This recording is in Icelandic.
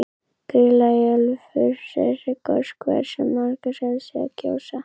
Grýla í Ölfusi er goshver sem margir hafa séð gjósa.